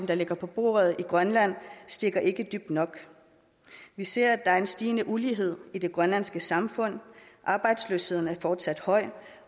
der ligger på bordet i grønland stikker ikke dybt nok vi ser at der er en stigende ulighed i det grønlandske samfund arbejdsløsheden er fortsat høj